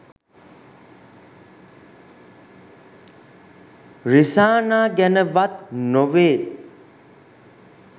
රිසානා ගැන වත් නොවේ.